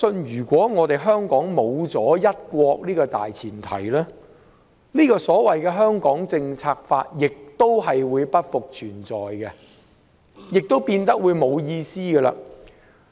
如果沒了"一國"這個大前提，《香港政策法》亦會不復存在，亦會變得毫無意義。